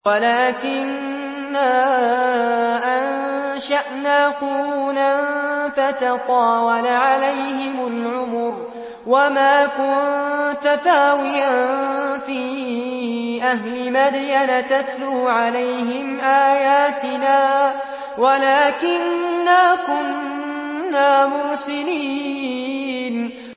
وَلَٰكِنَّا أَنشَأْنَا قُرُونًا فَتَطَاوَلَ عَلَيْهِمُ الْعُمُرُ ۚ وَمَا كُنتَ ثَاوِيًا فِي أَهْلِ مَدْيَنَ تَتْلُو عَلَيْهِمْ آيَاتِنَا وَلَٰكِنَّا كُنَّا مُرْسِلِينَ